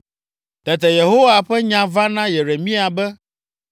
Tete Yehowa ƒe nya va na Yeremia be,